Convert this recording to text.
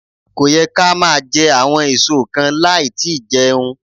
Kò yẹ ká máa jẹ àwọn èso kan láì tí í jẹun.